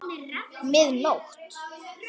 Mið nótt!